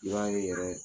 I b'a ye yɛrɛ